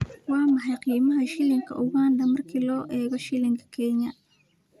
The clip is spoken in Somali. Waa maxay qiimaha shilinka Uganda marka loo eego shilinka Kenya?